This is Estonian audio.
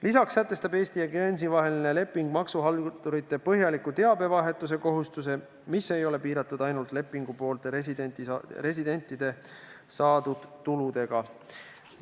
Lisaks sätestab Eesti ja Guernsey vaheline leping maksuhaldurite põhjaliku teabevahetuse kohustuse, mis ei ole piiratud ainult lepingupoolte residentide saadud tuludega.